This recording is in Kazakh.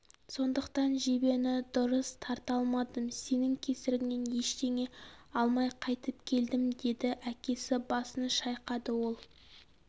сондықтан жебені дұрыс тарта алмадым сенің кесіріңнен ештеңе алмай қайтып келдім деді әкесі басын шайқады ол